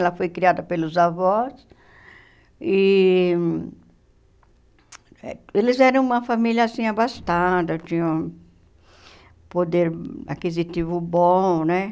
Ela foi criada pelos avós e eles eram uma família assim, abastada, tinham poder aquisitivo bom, né?